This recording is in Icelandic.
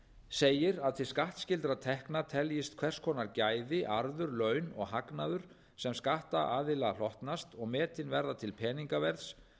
segir að til skattskyldra tekna teljist hvers konar gæði arður laun og hagnaður sem skattaðila hlotnast og metin verða til peningaverðs